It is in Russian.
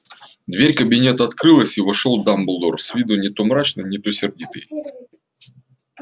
дверь кабинета открылась и вошёл дамблдор с виду не то мрачный не то сердитый